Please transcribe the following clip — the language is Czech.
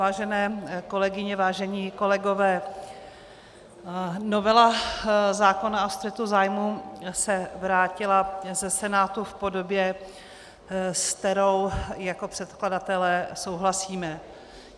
Vážené kolegyně, vážení kolegové, novela zákona o střetu zájmů se vrátila ze Senátu v podobě, se kterou jako předkladatelé souhlasíme.